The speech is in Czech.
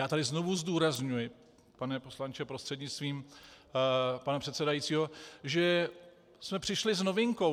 Já tady znovu zdůrazňuji, pane poslanče prostřednictvím pana předsedajícího, že jsme přišli s novinkou.